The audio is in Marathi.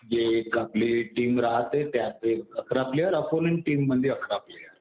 जे एक आपली टीम राहते त्यात अकरा प्लेयर, ऑपोनन्ट टीम मध्ये अकरा प्लेयर.